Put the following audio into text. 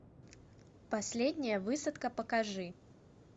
последняя высадка покажи